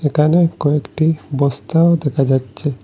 একানে কয়েকটি বস্তাও দেখা যাচ্ছে।